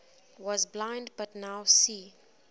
was blind but now see